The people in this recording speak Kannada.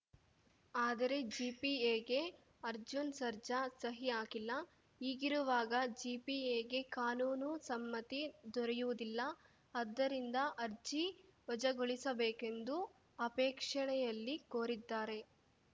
ಆದರೆ ಜಿಪಿಎಗೆ ಅರ್ಜುನ್‌ ಸರ್ಜಾ ಸಹಿ ಹಾಕಿಲ್ಲ ಹೀಗಿರುವಾಗ ಜಿಪಿಎಗೆ ಕಾನೂನು ಸಮ್ಮತಿ ದೊರೆಯುವುದಿಲ್ಲ ಆದ್ದರಿಂದ ಅರ್ಜಿ ವಜಾಗೊಳಿಸಬೇಕೆಂದು ಅಪೇಕ್ಷಣೆಯಲ್ಲಿ ಕೋರಿದ್ದಾರೆ